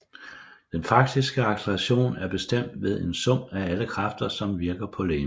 Den faktiske acceleration er bestemt ved en sum af alle kræfter som virker på legemet